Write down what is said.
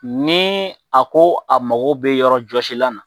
Ni a ko a mago bɛ yɔrɔjɔsilan na